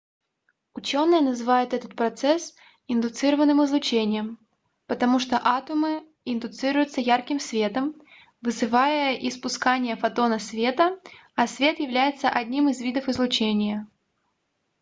учёные называют этот процесс индуцированным излучением потому что атомы индуцируются ярким светом вызывая испускание фотона света а свет является одним из видов излучения